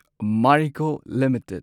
Marico limited